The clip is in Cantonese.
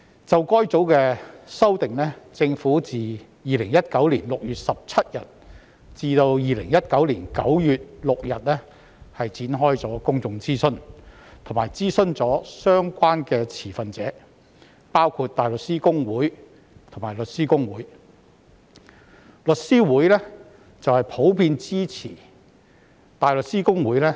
就該組的修訂，政府在2019年6月17日至2019年9月6日展開了公眾諮詢，以及諮詢了相關的持份者，包括香港大律師公會和香港律師會。